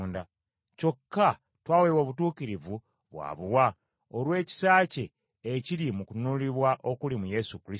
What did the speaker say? Kyokka twaweebwa obutuukirivu bwa buwa olw’ekisa kye ekiri mu kununulibwa okuli mu Yesu Kristo;